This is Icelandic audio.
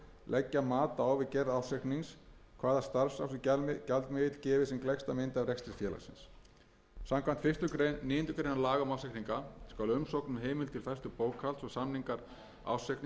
leggja mat á við gerð ársreiknings hvaða starfrækslugjaldmiðill gefi sem gleggsta mynd af rekstri félagsins samkvæmt fyrstu málsgrein níundu grein laga um ársreikninga skal umsókn um heimild til færslu bókhalds og samningar ársreiknings í erlendum gjaldmiðli berast ársreikningaskrá tveimur